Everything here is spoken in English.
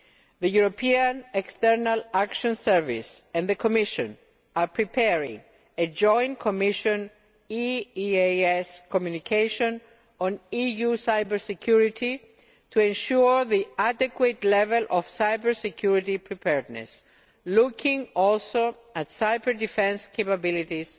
The European External Action Service and the Commission are preparing a joint Commission EEAS communication on EU cyber security to ensure the adequate level of cyber security preparedness, also looking at cyber defence capabilities